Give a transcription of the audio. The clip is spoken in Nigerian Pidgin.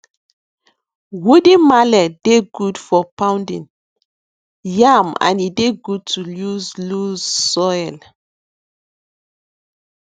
wooden mallet dey good for pounding yam and e dey good to use loose soil